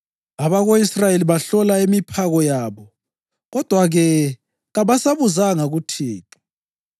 Abako-Israyeli bahlola imiphako yabo kodwa-ke kabasabuzanga kuThixo.